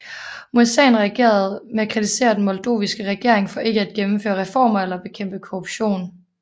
Mureșan reagerede med at kritisere den moldoviske regering for ikke at gennemføre reformer eller bekæmpe korruption